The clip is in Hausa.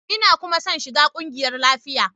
Ina kuma son shiga kungiyar lafiya.